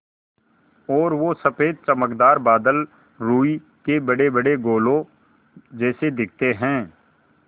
और वो सफ़ेद चमकदार बादल रूई के बड़ेबड़े गोलों जैसे दिखते हैं